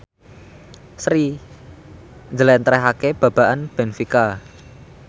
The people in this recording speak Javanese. Sri njlentrehake babagan benfica